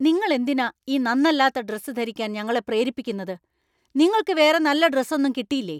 നിങ്ങൾ എന്തിനാ ഈ നന്നല്ലാത്ത ഡ്രസ്സ് ധരിക്കാൻ ഞങ്ങളെ പ്രേരിപ്പിക്കുന്നത്? നിങ്ങൾക്ക് വേറെ നല്ല ഡ്രസ്സ് ഒന്നും കിട്ടിയില്ലേ ?